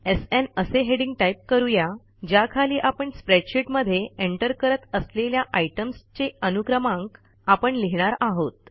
SN असे heading type करू या ज्याखाली आपण स्प्रेडशीटमध्ये एंटर करत असलेल्या आयटम्स चे अनुक्रमांक आपण लिहिणार आहोत